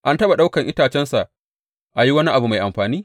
An taɓa ɗaukan itacensa an yi wani abu mai amfani?